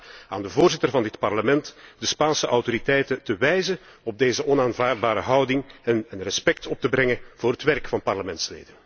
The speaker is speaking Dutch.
Ik verzoek de Voorzitter van dit Parlement dan ook, de Spaanse autoriteiten te wijzen op deze onaanvaardbare houding en respect op te brengen voor het werk van parlementsleden.